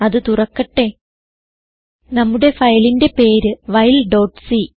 അത് തുറക്കട്ടെ നമ്മുടെ ഫയലിന്റെ പേര് whileസി